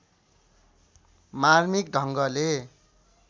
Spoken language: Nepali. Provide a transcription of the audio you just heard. मार्मिक ढङ्गले